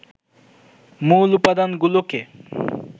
মূল উপাদানগুলোকে